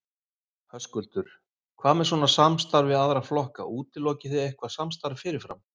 Höskuldur: Hvað með svona samstarf við aðra flokka, útilokið þið eitthvað samstarf fyrirfram?